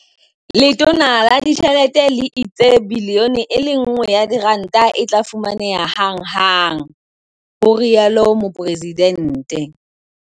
"Letona la Ditjhelete le itse R1 bilione e tla fumaneha hanghang," ho rialo Mopresidente.